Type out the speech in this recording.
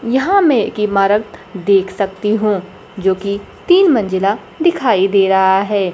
यहां मैं एक इमारत देख सकती हूं जो कि तीन मंजिला दिखाई दे रहा है।